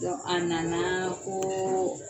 Don a nana koo